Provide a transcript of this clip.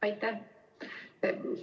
Aitäh!